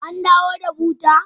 An dawo da buta?